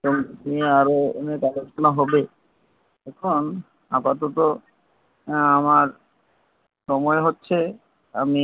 সঙ্গীত আরো আলোচনা হবে এখন আপাতত আমার সময় হচ্ছে আমি